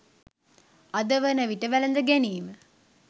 අද වන විට වැළඳ ගැනීම